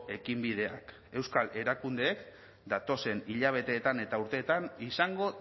ekinbideak euskal erakundeek datozen hilabeteetan eta urteetan izango